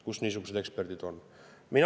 Kus niisugused eksperdid on?